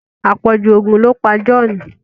apọju oògùn lọ pá John.